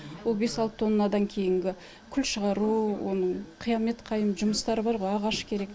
ол бес алты тоннандан кейінгі күл шығару оның қиямет қайым жұмыстары бар ғой ағаш керек